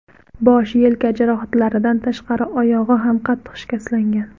Bosh, yelka jarohatlaridan tashqari, oyog‘i ham qattiq shikastlangan.